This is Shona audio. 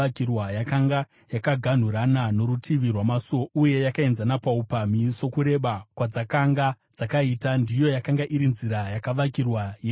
Yakanga yakaganhurana norutivi rwamasuo uye yakaenzana paupamhi sokureba kwadzakanga dzakaita; ndiyo yakanga iri nzira yakavakirwa yenyasi.